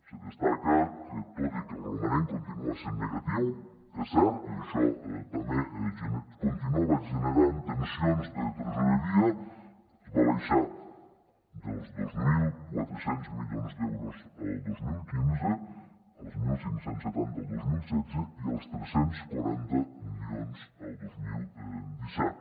se destaca que tot i que el romanent continua sent negatiu és cert i això també continuava generant tensions de tresoreria es va baixar dels dos mil quatre cents milions d’euros el dos mil quinze als quinze setanta el dos mil setze i als tres cents i quaranta milions el dos mil disset